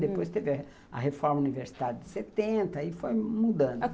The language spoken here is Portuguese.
Depois teve a reforma universitária de setenta e foi mudando.